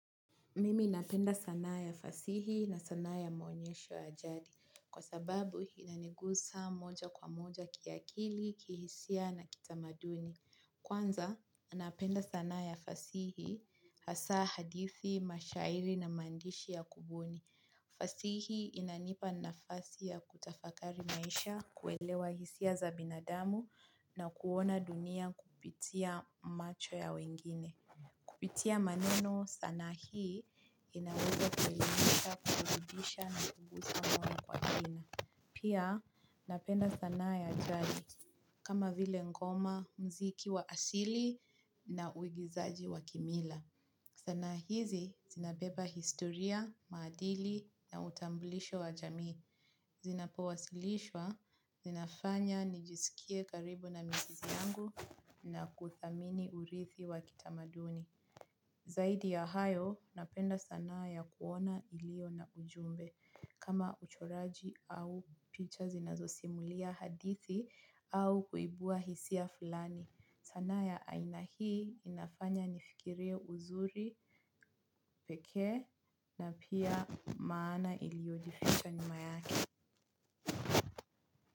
Mimi napenda sanaa ya fasihi na sanaa ya maonyesho ya jadi kwa sababu inanigusa moja kwa moja kiakili, kihisia na kitamaduni. Kwanza, napenda sanaa ya fasihi hasa hadithi, mashairi na maandishi ya kubuni. Fasihi inanipa nafasi ya kutafakari maisha, kuelewa hisia za binadamu na kuona dunia kupitia macho ya wengine. Kupitia maneno sanaa hii inaweza kuelimisha kukudisha na kubusa mwono kwa tina. Pia napenda sanaa ya jadi kama vile ngoma mziki wa asili na uigizaji wa kimila. Sanaa hizi zinabeba historia, maadili na utambulisho wa jamii. Zinapowasilishwa, zinafanya nijisikie karibu na mizizi yangu na kuthamini urithi wa kitamaduni. Zaidi ya hayo, napenda sanaa ya kuona ilio na ujumbe. Kama uchoraji au picha zinazosimulia hadithi au kuibua hisia fulani. Sanaa ya aina hii inafanya nifikire uzuri, peke na pia maana iliyojificha nyuma yake.